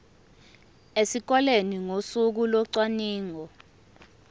esikoleni ngosuku locwaningo